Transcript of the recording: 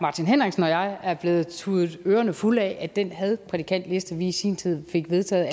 martin henriksen og jeg er blevet tudet ørerne fulde af at den hadprædikantliste vi i sin tid fik vedtaget